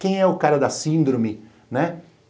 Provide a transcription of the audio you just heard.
Quem é o cara da síndrome, né